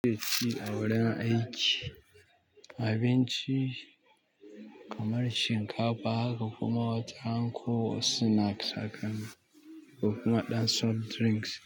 A wurin aiki, abinci kamar shinkafa haka kuma wataran ko snacks hakan kokuma ɗan soft drinks.